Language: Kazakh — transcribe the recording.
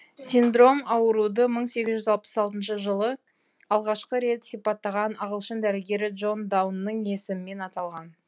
синдром ауруды мың сегіз жүз алпыс алтыншы жылы алғашқы рет сипаттаған ағылшын дәрігері джон даунның есімімен аталған